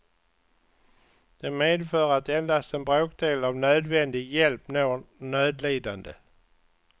Det medför att endast en bråkdel av nödvändig hjälp når nödlidande.